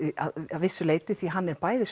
að vissu leyti því hann bæði